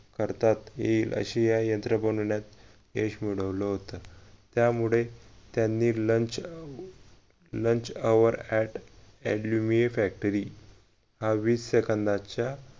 करता येईल अश्या या यंत्र बनवण्यात यश मिळवलं होत त्यामुळे त्यांनी lunch अं lunch our aluminium factory हा वीस सेंकंदाच्या